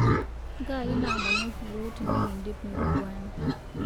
Ngai naamonoki yuo tinikindip nkugwana